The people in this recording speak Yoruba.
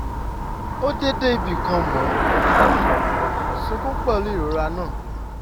ó dé dé ibì kan mò ń um sunkún pẹ̀lú ìrora náà